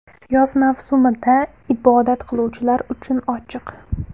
Yoz mavsumida ibodat qiluvchilar uchun ochiq.